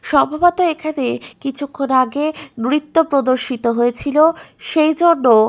সম্ভবত এখানে কিছুক্ষন আগে নৃত্য প্রদর্শিত হয়েছিল সেইজন্য --